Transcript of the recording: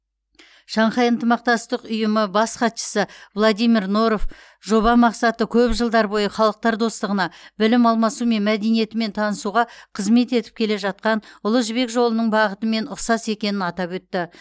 шанхай ынтымақтастық ұйымы бас хатшысы владимир норов жоба мақсаты көп жылдар бойы халықтар достығына білім алмасу мен мәдениетімен танысуға қызмет етіп келе жатқан ұлы жібек жолының бағытымен ұқсас екенін атап өтті